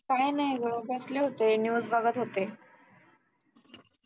काही नाही ग बसले होते news बघत होते.